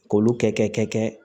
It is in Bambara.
K'olu kɛ kɛ